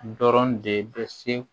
Dɔrɔn de bɛ se